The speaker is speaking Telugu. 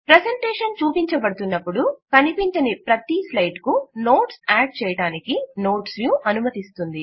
ప్రెజెంటేషన్ చూపించబడుతున్నప్పుడు కనిపించని ప్రతీ స్లైడ్ కు నోట్స్ యాడ్ చేయటానికి నోట్స్ వ్యూ అనుమతిస్తుంది